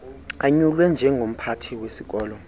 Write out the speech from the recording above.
anyulwe njengomphathi wesikolo